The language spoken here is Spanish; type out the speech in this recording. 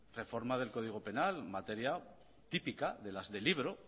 reformar el código penal materia típica de las de libro